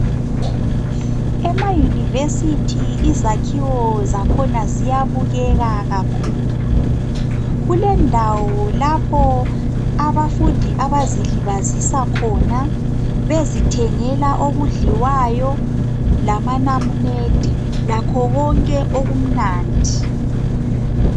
Emayunivesithi izakhiwo zakhona ziyabukeka kakhulu. Kulendawo lapho abafundi abazilibazisa khona, bezithengela okudliwayo lamanamunede lakho konke okumnandi.